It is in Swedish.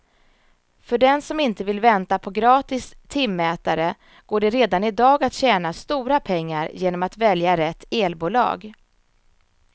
För den som inte vill vänta på gratis timmätare går det redan i dag att tjäna stora pengar genom att välja rätt elbolag.